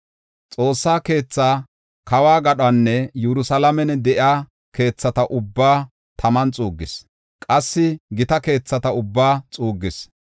Xoossa keethaa, kawo gadhonne Yerusalaamen de7iya keethata ubbaa taman xuuggis; qassi gita keethata ubbaa xuuggis.